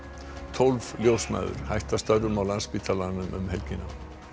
tólf ljósmæður hætta störfum á Landspítalanum um helgina